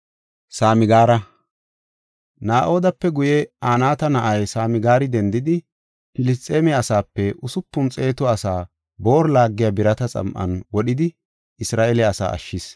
Na7odaape guye, Anaata na7ay Samgaari dendidi, Filisxeeme asaape usupun xeetu asaa booru laagiya birata xam7an wodhidi Isra7eele asaa ashshis.